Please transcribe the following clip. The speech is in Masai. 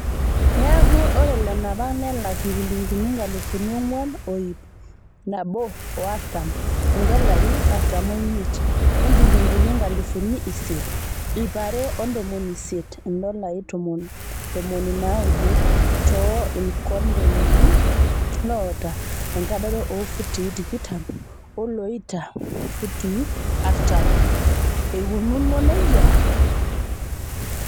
Neeku, ore lanapak nelak njilingini nkalifuni onguan o iip naboo o artam (indolai artam oimiet) o njilingini inkalifuni isiet, iip are o ntomoni isiet (Indolai ntomoni naaudo) too ilkondenani loota enkadoro oo futii tikitam olooita futii artam eikununo nejia.